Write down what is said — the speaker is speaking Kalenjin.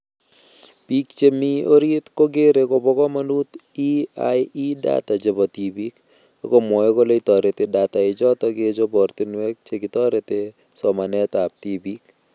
Biik chemii orit kokeree kobo komonut EiE data chebo tibiik ,akomwoei kole toreti data ichoto kechob ortinwek chekitoretee somanetab tibiik